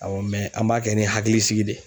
Awɔ an b'a kɛ ni hakilisigi de ye.